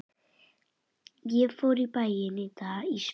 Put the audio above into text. Ég fór í bæinn í dag Ísbjörg.